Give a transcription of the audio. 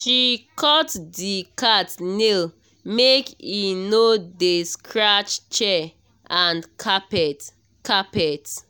she cut the cat nail make e no dey scratch chair and carpet. carpet.